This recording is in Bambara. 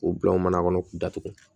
K'u bila o mana kɔnɔ k'u datugu